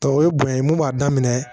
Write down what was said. Ta o ye bonya ye mun b'a daminɛ